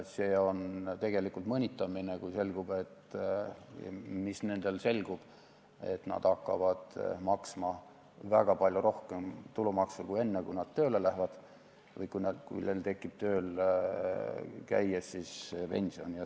See on tegelikult mõnitamine, kui selgub, et nad hakkavad maksma varasemast väga palju rohkem tulumaksu, kui nad tööle lähevad või kui nad hakkavad tööl käies pensioni saama.